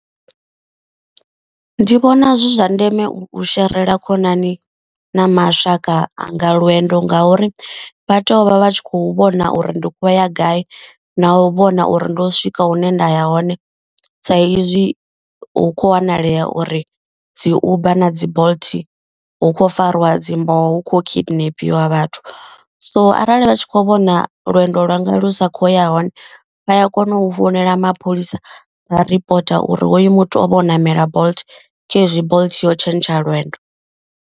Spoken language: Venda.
Ndi vhona zwi zwa ndeme u sherela khonani na mashaka anga lwendo. Nga uri vha teyo u vha vha tshi khou vhona uri ndi khou vha ya gai na u vhona uri ndo swika hune nda ya hore. Sa izwi hu kho wanalea uri dzi uber na dzi bolt hu khou fariwa dzi mboho hu kho kidnapiwa vhathu. So arali vha tshi kho vhona lwendo lwanga lu sa khou ya hone vha ya kona u founela mapholisa vha ripota uri hoyu muthu o ṋamela bolt khezwi bolt yo tshentsha lwendo.